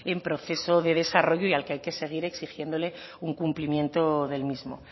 en proceso de desarrollo y al que hay que seguir exigiéndole un cumplimiento del mismo